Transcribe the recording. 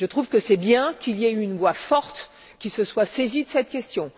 Je trouve que c'est bien qu'il y ait une voix forte qui se soit saisie de cette question.